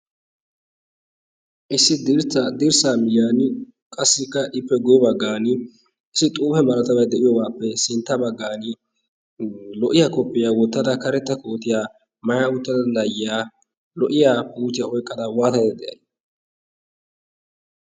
issi dra dirssaa miiyaan qassikka ippe guye baggan issi xuufe maratabai de'iyoobaappe sintta baggan lo"iyaa koppiyaa wottada karetta kootiya maya wuttada laayyiyaa lo"iya puuchiyaa oyqqada waatadada de'ay?